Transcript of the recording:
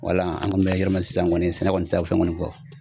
Wala an kɔni bɛ yɔrɔ min na sisan kɔni sɛnɛ kɔni tɛ se ka fɛn kɔni bɔ